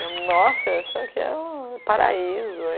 Eu, nossa, isso aqui é um paraíso.